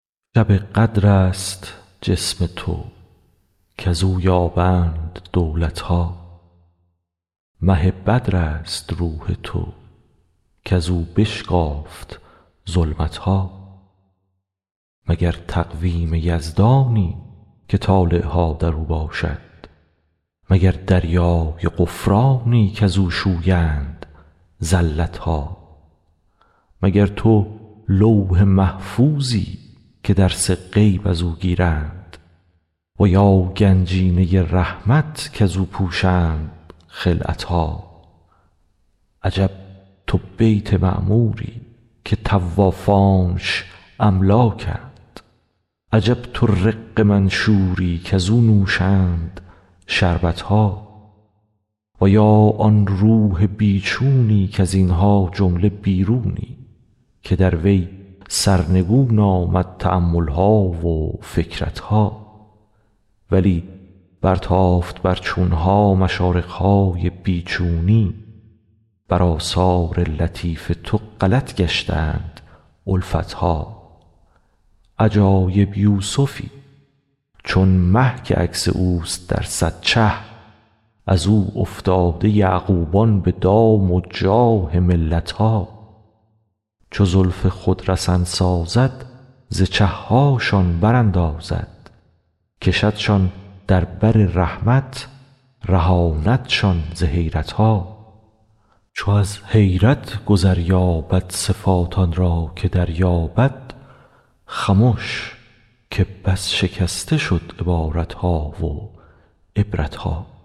شب قدر است جسم تو کز او یابند دولت ها مه بدرست روح تو کز او بشکافت ظلمت ها مگر تقویم یزدانی که طالع ها در او باشد مگر دریای غفرانی کز او شویند زلت ها مگر تو لوح محفوظی که درس غیب از او گیرند و یا گنجینه رحمت کز او پوشند خلعت ها عجب تو بیت معموری که طوافانش املاکند عجب تو رق منشوری کز او نوشند شربت ها و یا آن روح بی چونی کز این ها جمله بیرونی که در وی سرنگون آمد تأمل ها و فکرت ها ولی برتافت بر چون ها مشارق های بی چونی بر آثار لطیف تو غلط گشتند الفت ها عجایب یوسفی چون مه که عکس اوست در صد چه از او افتاده یعقوبان به دام و جاه ملت ها چو زلف خود رسن سازد ز چه هاشان براندازد کشدشان در بر رحمت رهاندشان ز حیرت ها چو از حیرت گذر یابد صفات آن را که دریابد خمش که بس شکسته شد عبارت ها و عبرت ها